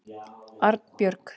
Arnbjörg